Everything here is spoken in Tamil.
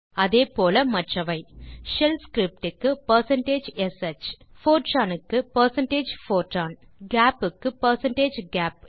அதே போல மற்றவை ஷெல் ஸ்கிரிப்டிங் க்குshFortran க்கு பெர்சென்டேஜ் போர்ட்ரான் கேப் க்கு பெர்சென்டேஜ் கேப்